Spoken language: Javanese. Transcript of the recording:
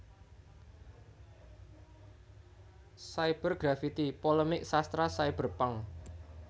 Cyber Grafiti Polemik Sastra Cyberpunk